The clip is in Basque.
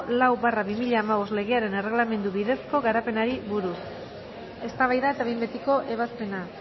lau barra bi mila hamabost legearen erregelamendu bidezko garapenari buruz eztabaida eta behin betiko ebazpena